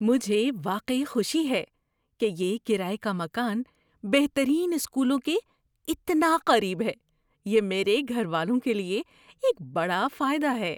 مجھے واقعی خوشی ہے کہ یہ کرایے کا مکان بہترین اسکولوں کے اتنا قریب ہے۔ یہ میرے گھر والوں کے لیے ایک بڑا فائدہ ہے۔